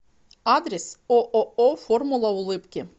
адрес ооо формула улыбки